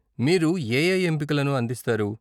మీరు ఏఏ ఎంపికలను అందిస్తారు?